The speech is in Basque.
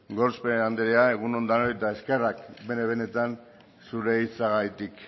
gorospe anderea egun on denoi eta eskerrak benetan zure hitzengatik